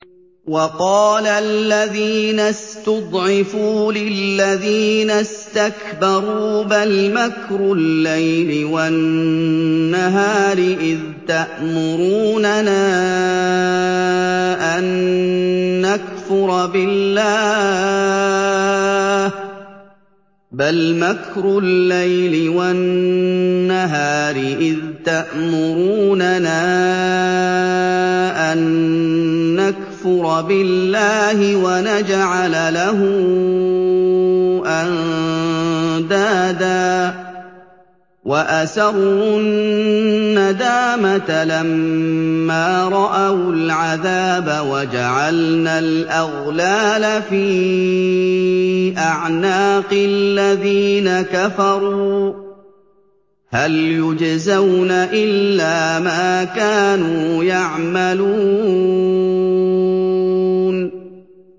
وَقَالَ الَّذِينَ اسْتُضْعِفُوا لِلَّذِينَ اسْتَكْبَرُوا بَلْ مَكْرُ اللَّيْلِ وَالنَّهَارِ إِذْ تَأْمُرُونَنَا أَن نَّكْفُرَ بِاللَّهِ وَنَجْعَلَ لَهُ أَندَادًا ۚ وَأَسَرُّوا النَّدَامَةَ لَمَّا رَأَوُا الْعَذَابَ وَجَعَلْنَا الْأَغْلَالَ فِي أَعْنَاقِ الَّذِينَ كَفَرُوا ۚ هَلْ يُجْزَوْنَ إِلَّا مَا كَانُوا يَعْمَلُونَ